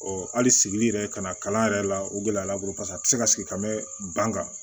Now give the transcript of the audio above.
hali sigili yɛrɛ ka na kalan yɛrɛ la o gɛlɛya b'a bolo paseke a tɛ se ka sigi bɛ ban kan